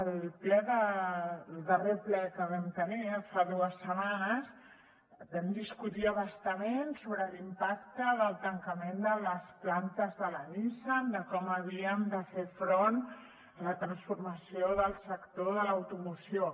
al darrer ple que vam tenir fa dues setmanes vam discutir a bastament sobre l’impacte del tancament de les plantes de la nissan de com havíem de fer front a la transformació del sector de l’automoció